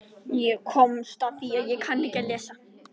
Ég komst nú samt á ballið og skemmti mér ágætlega.